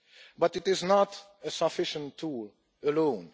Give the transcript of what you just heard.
But it is not a sufficient tool alone.